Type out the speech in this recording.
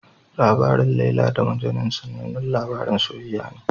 Labarin Laila da Majnun sanannen labarin soyayya ne.